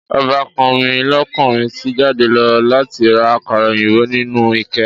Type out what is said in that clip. Ọbàkan mi lókunrin ti jáde lọ láti ra àkàrà òyìnbó inú ké.